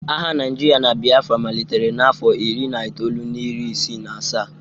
Agha Naijiria na Biafra malitere n'afọ iri na itoolu na iri isii na asaa